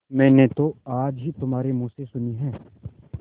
मैंने तो आज ही तुम्हारे मुँह से सुनी है